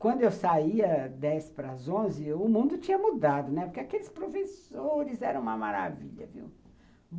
Quando eu saía, dez para às onze o mundo tinha mudado, né, porque aqueles professores eram uma maravilha, viu?